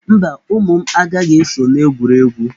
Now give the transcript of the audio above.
Mba, ụmụ m, agaghị eso n'egwuregwu